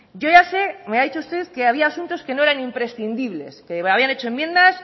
yo ya sé me ha dicho usted que había asuntos que no eran imprescindibles que habían hecho enmiendas